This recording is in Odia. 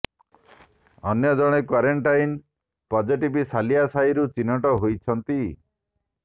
ଅନ୍ୟ ଜଣେ କ୍ୱାରେଣ୍ଟାଇନ ପଜିଟିଭ ସାଲିଆ ସାହିରୁ ଚିହ୍ନଟ ହୋଇଛନ୍ତି